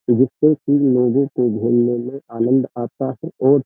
जिससे कि लोगों को घूमने में आनंद आता है और --